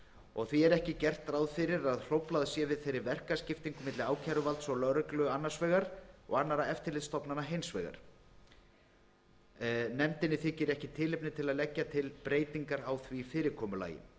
og því er ekki gert ráð fyrir að hróflað sé við þeirri verkaskiptingu milli ákæruvalds og lögreglu annars vegar og annarra eftirlitsstofnana hins vegar nefndinni þykir ekki tilefni til að leggja til breytingar á því fyrirkomulagi